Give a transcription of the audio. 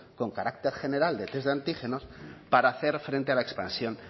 con carácter general de test de antígenos para hacer frente a la expansión